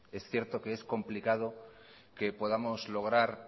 es cierto que es complicado que podamos lograr